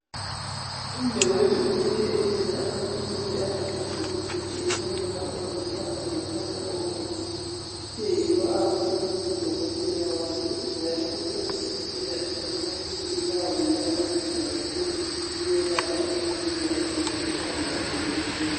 Umnewethu ubuye ethwele amaphilisi ade esebhokisini elilombala olithanga lombala obomvu uthe yiyo awaphiwe ngudokotela wakhe njalo uthe udokotela amaphilisi lawa yiwo anceda kakhulu ukwelapha umuntu nxa esizwa ikhanda lakhe libuhlungu.